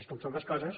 és com són les coses